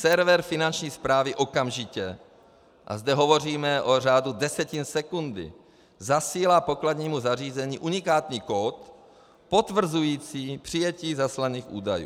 Server Finanční správy okamžitě - a zde hovoříme o řádu desetin sekundy - zasílá pokladnímu zařízení unikátní kód potvrzující přijetí zaslaných údajů.